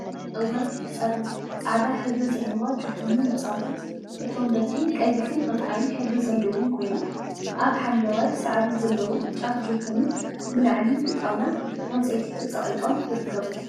10. እዋይ ክትፀርይ! ፃዕዳ ሕብሪ ዘለዋ ጆቶኒ መፃወቲት እቶም በትሪ ቀይሕን ዕንቋይን ሕብሪ ዘለዎም ኮይኖም አብ ሓምለዋይ ሳዕሪ ዘለዎም ጫፍ ጆቶኒ ብላዕሊ ብጣውላ ዕንፀይቲ ተፀቂጦም ይርከቡ።